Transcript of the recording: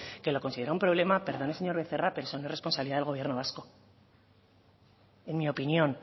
que lo considera un problema perdone señor becerra pero eso no es responsabilidad del gobierno vasco en mi opinión